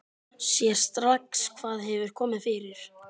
Sér strax hvað hefur komið fyrir.